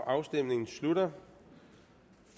afstemningen slutter